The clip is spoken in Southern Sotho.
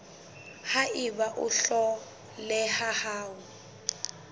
ha eba o hloleha ho